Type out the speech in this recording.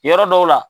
Yɔrɔ dɔw la